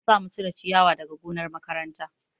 An samu cire ciyawa daga gonar makaranta